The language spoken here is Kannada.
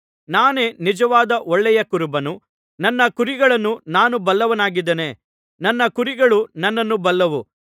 ನಾನೇ ನಿಜವಾದ ಒಳ್ಳೆಯ ಕುರುಬನು ನನ್ನ ಕುರಿಗಳನ್ನು ನಾನು ಬಲ್ಲವನಾಗಿದ್ದೇನೆ ನನ್ನ ಕುರಿಗಳು ನನ್ನನ್ನು ಬಲ್ಲವು